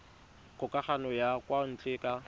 kgokagano ya kwa ntle ka